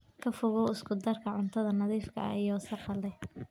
Ka fogow isku darka cuntada nadiifka ah iyo wasakhda leh.